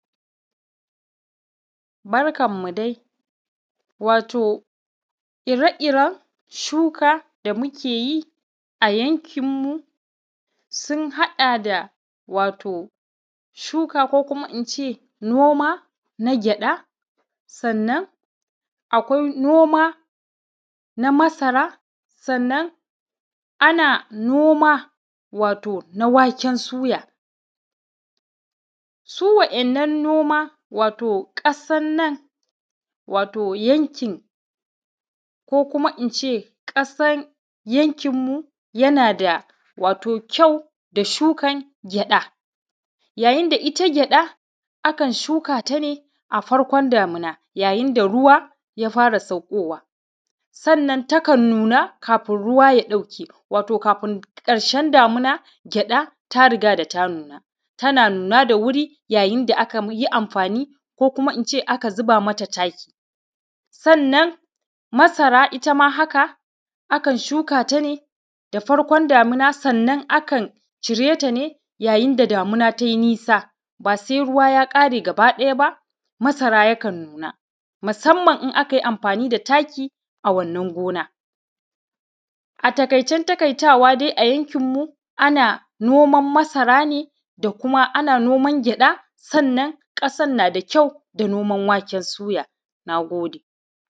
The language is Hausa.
Barkan mu dai, wato ire-iren shuka da muke yi, a yankinmu, sun haɗa da, wato shuka ko kuma in ce, noma na gyaɗa, sannan, akwai noma na masara, sannan ana noma wato, na waken suya. Su wa’yannan noma, wato ƙasan nan, wato yankin, ko kuma in ce ƙasan yankinmu, yana da wato kyau, da shukan gyaɗa. Yayin da ita gyaɗa, akan shuka ta ne, a farkon damina yayin da ruwa ya fara saƙƙowa, sannan takan nuna kafin ruwa ya ɗauke. Wato kafin ƙarshen damina, gyaɗa ta riga da ta nuna, tana nuna da wuri yayin da aka ma; yi amfani ko kuma in ce aka ziba mata taki. Sannan masara ita ma haka, akan shuka ta ne, da farkon damina, sannan akan cire ta ne yayin da damina tai nisa, ba se ruwa ya ƙare gabaɗaya ba, masara yakan nuna, masamman in aka yi amfani da taki a wannan gona. A takaicen takaitawa dai a yankinmu, ana noman masara ne, da kuma ana noman gyaɗa, sannan ƙasan na da kyau, da noman waken suya, na gode